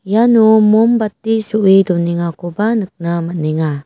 iano mombati so·e donengakoba nikna man·enga.